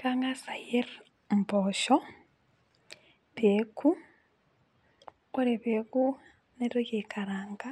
Kangasa ayier imboosho peoku, ore peoku naitoki aikaraanga